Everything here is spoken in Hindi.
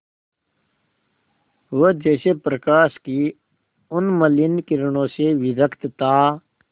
वह जैसे प्रकाश की उन्मलिन किरणों से विरक्त था